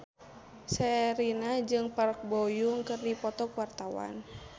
Sherina jeung Park Bo Yung keur dipoto ku wartawan